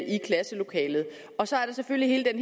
i klasselokalet og så er der selvfølgelig hele